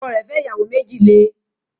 Ọkọ rẹ̀ fẹ́ ìyàwó méjì le